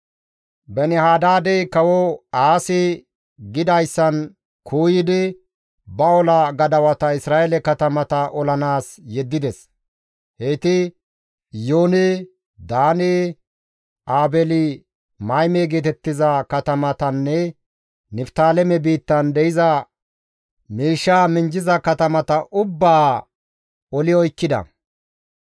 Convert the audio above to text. Beeni-Hadaadey kawo Aasi gidayssan kuuyidi, ba ola gadawata Isra7eele katamata olanaas yeddides. Heyti Iyoone, Daane, Aabeeli-Mayme geetettiza katamatanne Niftaaleme biittan de7iza miishshaa minjjiza katamata ubbaa oli oykkida.